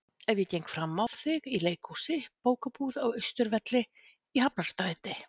Ef ég geng frammá þig í leikhúsi, bókabúð, á Austurvelli, í Hafnarstræti.